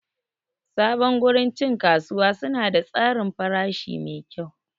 Sabon gurin cin kasuwa suna da tsarin farashi mai kyau.